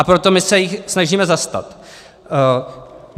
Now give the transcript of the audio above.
A proto my se jich snažíme zastat.